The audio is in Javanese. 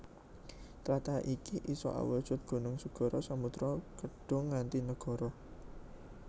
Tlatah iki isa awujud gunung segara samudra kedhung nganti nagara